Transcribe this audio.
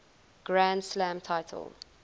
grand slam title